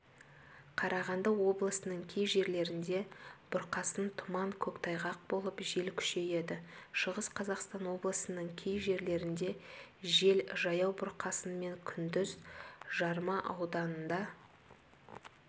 қарағанды облысының кей жерлерінде бұрқасын тұман көктайғақ болып жел күшейеді шығыс қазақстан облысының кей жерлерінде жел жаяу бұрқасынмен күндіз жарма ауданында